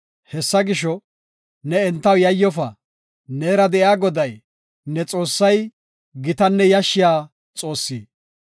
Hessa gisho, ne entaw yayyofa; neera de7iya Goday, ne Xoossay, gitanne yashshiya Xoossi.